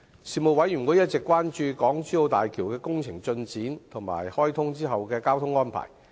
事務委員會一直關注港珠澳大橋的工程進展及開通後的交通安排。